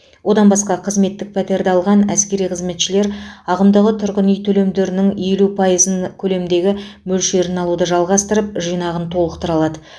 одан басқа қызметтік пәтерді алған әскери қызметшілер ағымдағы тұрғын үй төлемдерінің елу пайызын көлемдегі мөлшерін алуды жалғастырып жинағын толықтыра алады